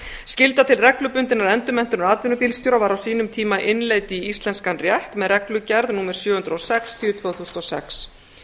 skylda til reglubundinnar endurmenntunar atvinnubílstjóra var á sínum tíma innleidd í íslenskan rétt með reglugerð númer sjö hundruð og sextíu tvö þúsund og sex